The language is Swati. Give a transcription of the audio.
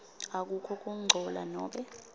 akukho kungcola nobe